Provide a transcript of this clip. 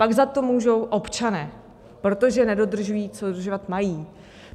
Pak za to můžou občané, protože nedodržují, co dodržovat mají.